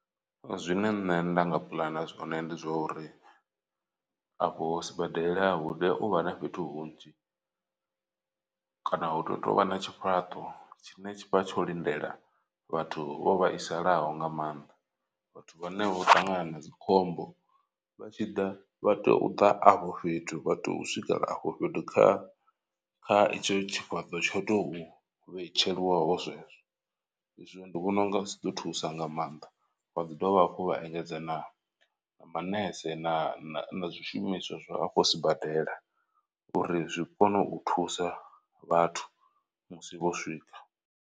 Zwine nṋe nda nga puḽana zwone ndi zwa uri, afho sibadela hu tea uvha na fhethu hunzhi kana hu to tovha na tshifhaṱo tshine tshavha tsho lindela vhathu vho vhaisalaho nga maanḓa. Vhathu vhane vho ṱangana na dzikhombo vha tshi ḓa vha tea u ḓa afho fhethu vha tea u swikela afho fhethu kha kha itsho tshifhaṱo tsho tou vhetsheliwaho zwezwo. I zwo ndi vhona unga zwi ḓo thusa nga maanḓa vha ḓi dovha hafhu vha engedza na manese na zwishumiswa zwa afho sibadela uri zwi kone u thusa vhathu musi vho swika.